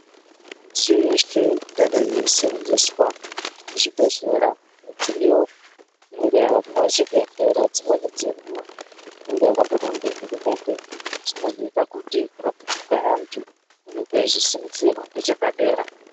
Midziyo yeshe ingadai yeienzeswa muzvibhedhlera midziyo inenge yapwa muzvibhedhlera dzimweni dzenguwa inenga yakapuwa ngehurumende inozoita kuti kurapiwa kwaantu kunge kweizosimudzirwa ngechepadera.